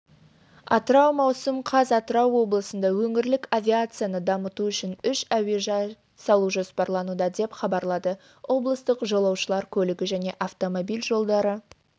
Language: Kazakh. атырау маусым қаз атырау облысында өңірлік авиацияны дамыту үшін үш әуежай салу жоспарлануда деп хабарлады облыстық жолаушылар көлігі және автомобиль жолдары